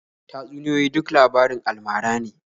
Tatsuniyoyi duk labarin alamara ne.